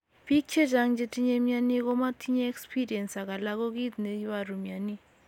Pik chechang chetinye mioni komo tinye experince ak alan ko kit ne iporu mioni.